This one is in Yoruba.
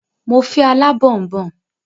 Mo fẹ́ alábọ̀nbọ̀n